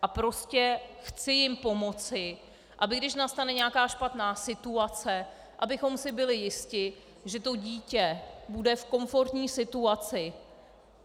A prostě chci jim pomoci aby když nastane nějaká špatná situace, abychom si byli jisti, že to dítě bude v komfortní situaci.